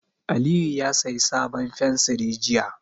Aliyu ya sayi sabon fensiri jiya.